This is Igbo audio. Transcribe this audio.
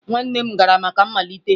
nwanne m gara maka mmalite?